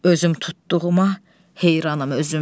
Özüm tutduğuma heyranam özüm.